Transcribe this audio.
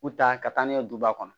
U ta ka taa n'a ye duguba kɔnɔ